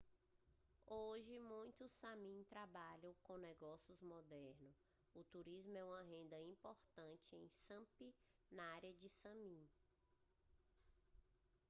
hoje muitos sámi trabalham com negócios modernos o turismo é uma renda importante em sápmi a área sámi